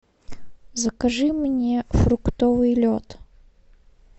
закажи мне фруктовый лед